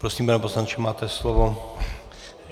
Prosím, pane poslanče, máte slovo.